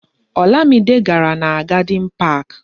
Olamide gàrà na Gadin Pak